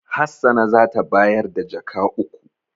Hassana za ta bayar da jaka uku.